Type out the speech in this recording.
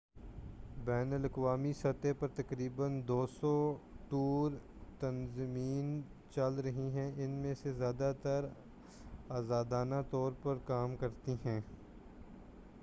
بین الاقوامی سطح پر تقریبا 200 ٹور تنظیمیں چل رہی ہیں ان میں سے زیادہ تر آزادانہ طور پر کام کرتی ہیں